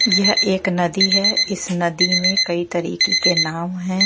यह एक नदी है इस नदी में कई तरीके के नाव हैं।